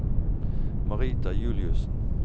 Marita Juliussen